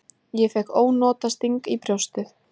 Ég fékk ónotasting í brjóstið.